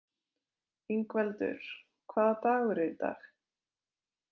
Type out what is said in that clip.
Ingveldur, hvaða dagur er í dag?